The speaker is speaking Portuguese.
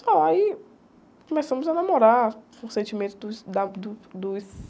Aí começamos a namorar, com o sentimento dos, da, do, dos